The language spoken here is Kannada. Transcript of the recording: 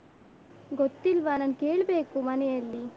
ಗೊತ್ತಿಲ್ವ ನಾನು ಕೇಳ್ಬೇಕು ಮನೆಯಲ್ಲಿ.